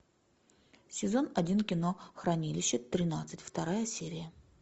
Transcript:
сезон один кино хранилище тринадцать вторая серия